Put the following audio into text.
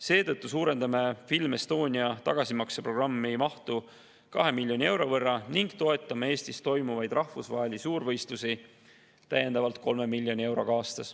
Seetõttu suurendame Film Estonia tagasimakseprogrammi mahtu 2 miljoni euro võrra ning toetame Eestis toimuvaid rahvusvahelisi suurvõistlusi täiendavalt 3 miljoni euroga aastas.